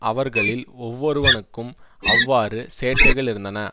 அவர்களில் ஒவ்வொருவனுக்கும் அவ்வாறு சேட்டைகளிருந்தன